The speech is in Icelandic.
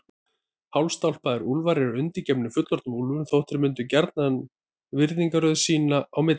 Hálfstálpaðir úlfar eru undirgefnir fullorðnum úlfum þótt þeir myndi gjarnan virðingarröð sín á milli.